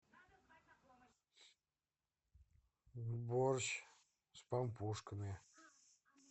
борщ с пампушками